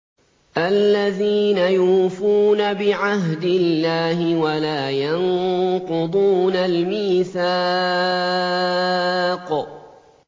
الَّذِينَ يُوفُونَ بِعَهْدِ اللَّهِ وَلَا يَنقُضُونَ الْمِيثَاقَ